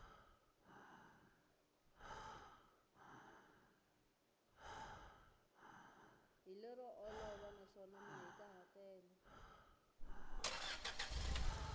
hi lero olova naswona mahikahatelo